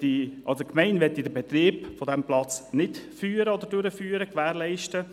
Die Gemeinde möchte den Betrieb des Platzes nicht gewährleisten.